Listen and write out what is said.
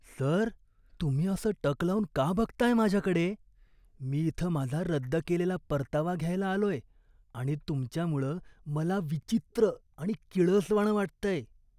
Sir, तुम्ही असं टक लावून का बघताय माझ्याकडे? मी इथं माझा रद्द केलेला परतावा घ्यायला आलोय आणि तुमच्यामुळं मला विचित्र आणि किळसवाणं वाटतंय.